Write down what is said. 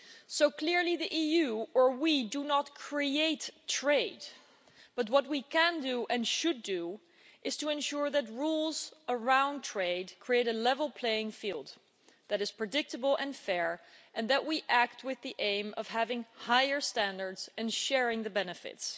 So, clearly, the EU or we do not create trade, but what we can and should do is ensure that rules around trade create a level playing field that is predictable and fair, and that we act with the aim of having higher standards and sharing the benefits.